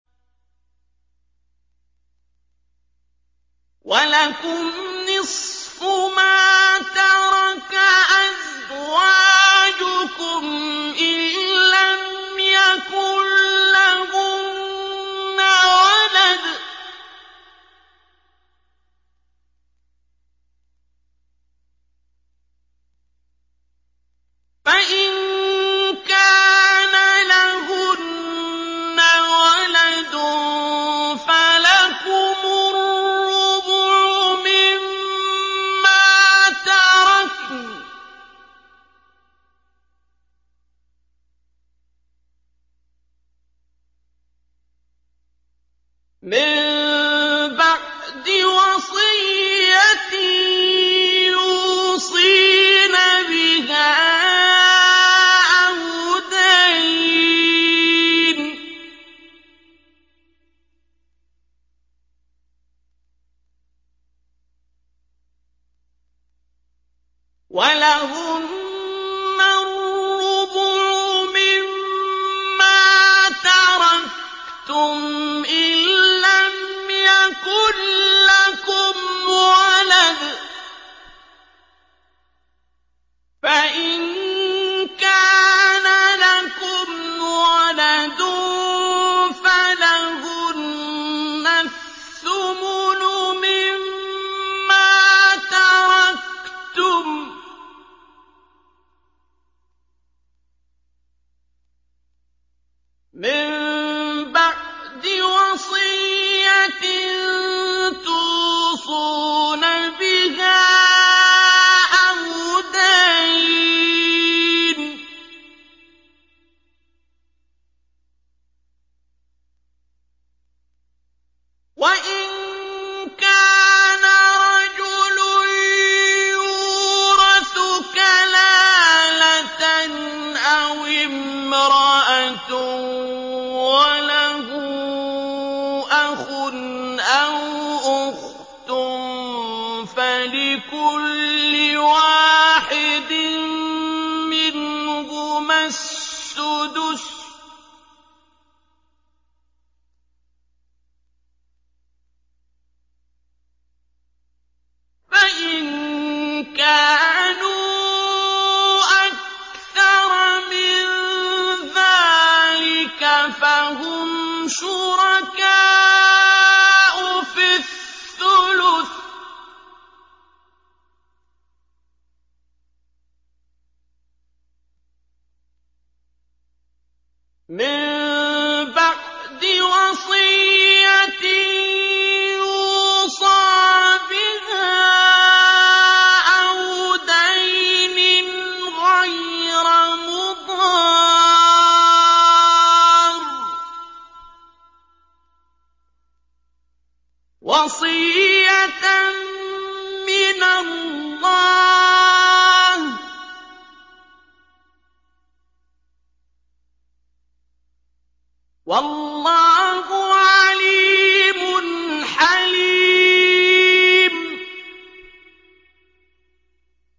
۞ وَلَكُمْ نِصْفُ مَا تَرَكَ أَزْوَاجُكُمْ إِن لَّمْ يَكُن لَّهُنَّ وَلَدٌ ۚ فَإِن كَانَ لَهُنَّ وَلَدٌ فَلَكُمُ الرُّبُعُ مِمَّا تَرَكْنَ ۚ مِن بَعْدِ وَصِيَّةٍ يُوصِينَ بِهَا أَوْ دَيْنٍ ۚ وَلَهُنَّ الرُّبُعُ مِمَّا تَرَكْتُمْ إِن لَّمْ يَكُن لَّكُمْ وَلَدٌ ۚ فَإِن كَانَ لَكُمْ وَلَدٌ فَلَهُنَّ الثُّمُنُ مِمَّا تَرَكْتُم ۚ مِّن بَعْدِ وَصِيَّةٍ تُوصُونَ بِهَا أَوْ دَيْنٍ ۗ وَإِن كَانَ رَجُلٌ يُورَثُ كَلَالَةً أَوِ امْرَأَةٌ وَلَهُ أَخٌ أَوْ أُخْتٌ فَلِكُلِّ وَاحِدٍ مِّنْهُمَا السُّدُسُ ۚ فَإِن كَانُوا أَكْثَرَ مِن ذَٰلِكَ فَهُمْ شُرَكَاءُ فِي الثُّلُثِ ۚ مِن بَعْدِ وَصِيَّةٍ يُوصَىٰ بِهَا أَوْ دَيْنٍ غَيْرَ مُضَارٍّ ۚ وَصِيَّةً مِّنَ اللَّهِ ۗ وَاللَّهُ عَلِيمٌ حَلِيمٌ